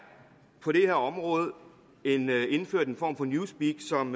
på det her område indført en form for newspeak som